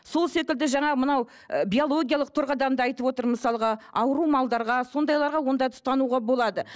сол секілді жаңа мынау ы биологиялық тұрғыдан да айтып отыр мысалға ауру малдарға сондайларға ондайды ұстануға болады